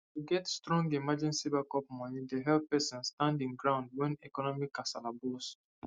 to get strong emergency backup money dey help person stand him ground when economic kasala burst